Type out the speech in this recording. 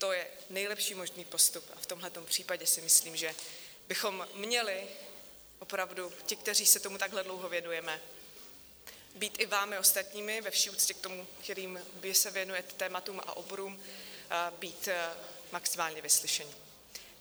To je nejlepší možný postup a v tomto případě si myslím, že bychom měli opravdu, ti, kteří se tomu takhle dlouho věnujeme, být i vámi ostatními, ve vší úctě k tomu, kterým vy se věnujete tématům a oborům, být maximálně vyslyšeni.